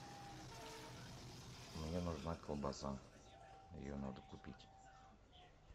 мне нужна колбаса ее надо купить